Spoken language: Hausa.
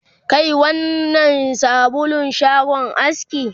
Kai wannnan sabulun shagon aski